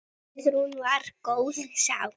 Guðrún var góð sál.